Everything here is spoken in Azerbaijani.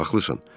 Haqlısan.